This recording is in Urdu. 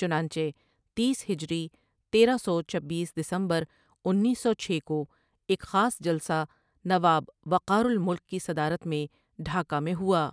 چنانچہ تیس ہجری تیرہ سو چبیس دسمبر انیس سو چھ کو ایک خاص جلسہ نواب وقارالملک کی صدارت میں ڈھاکہ میں ہوا ۔